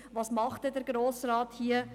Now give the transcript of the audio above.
Was macht denn der Grosse Rat hier?»